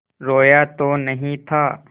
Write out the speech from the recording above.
रोया तो नहीं था